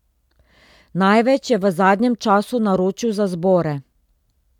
Največ je v zadnjem času naročil za zbore.